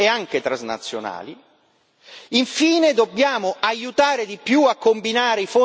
Infine, dobbiamo aiutare di più a combinare i fondi strutturali con i finanziamenti EFSI.